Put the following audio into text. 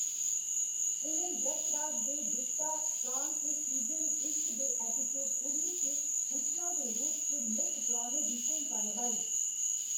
उ'नें यश राज दे रिश्ता काम च सीजन इक दे एपिसोड उन्नी च हुस्ना दे रूप च मुक्ख परौह्‌‌‌ने दी भूमका नभाई।